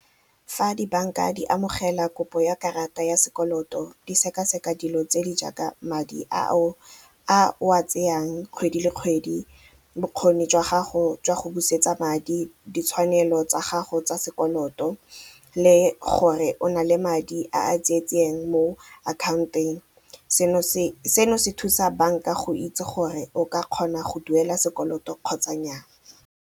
Fa di-bank-a di amogela kopo ya karata ya sekoloto di sekaseka dilo tse di jaaka madi a o a tseyang kgwedi le kgwedi, bokgoni jwa gago jwa go busetsa madi, ditshwanelo tsa gago tsa sekoloto le gore o na le madi a a mo account-eng, seno se seno se thusa bank-a go itse gore o ka kgona go duela sekoloto kgotsa nnyaa.